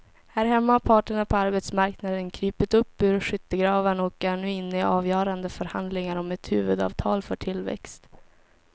Här hemma har parterna på arbetsmarknaden krupit upp ur skyttegravarna och är nu inne i avgörande förhandlingar om ett huvudavtal för tillväxt.